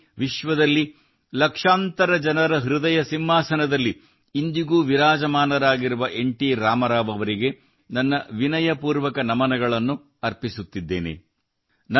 ದೇಶದಲ್ಲಿ ವಿಶ್ವದಲ್ಲಿ ಲಕ್ಷಾಂತರ ಜನರ ಹೃದಯ ಸಿಂಹಾಸನದಲ್ಲಿ ಇಂದಿಗೂ ವಿರಾಜಮಾನರಾಗಿರುವ ಎನ್ ಟಿ ರಾಮಾರಾವ್ ಅವರಿಗೆ ನನ್ನ ವಿನಯಪೂರ್ವಕ ನಮನಗಳನ್ನು ಅರ್ಪಿಸುತ್ತಿದ್ದೇನೆ